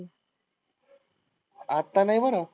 आत्ता नाही बरं?